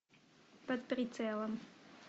под прицелом